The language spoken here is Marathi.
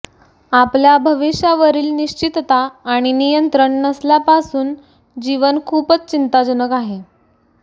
आपल्या भविष्यावरील निश्चितता आणि नियंत्रण नसल्यापासून जीवन खूपच चिंताजनक आहे